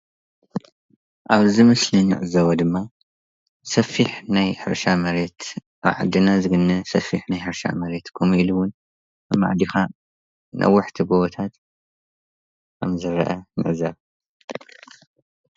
ኣብዚ ምስሊ እንዕዘቦ ድማ ሰፊሕ ናይ ሕርሻ መሬት ብዓድና ዝግነ ሰፈረሕ ናይ ሕርሻ መሬት ከምኡ እውን ኣመዓዲካ ነዋሕቲ ጎቦታት ከምዝርአ ንዕዘብ፡፡